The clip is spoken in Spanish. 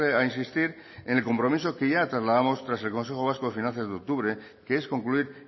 a insistir en el compromiso que ya trasladamos tras el consejo vasco de finanzas de octubre que es concluir